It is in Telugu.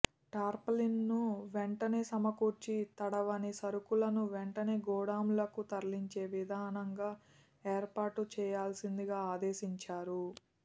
టార్పాలిన్ లను వెంటనే సమకూర్చి తడవని సరుకులను వెంటనే గోదాం లకు తరలించే విధంగా ఏర్పాటు చేయాల్సిందిగా ఆదేశించారు